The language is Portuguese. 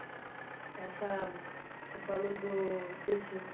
Essa, você falou do desses...